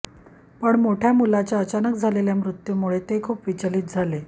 पण मोठ्या मुलाच्या अचानक झालेल्या मृत्यूमुळे ते खूप विचलित झाले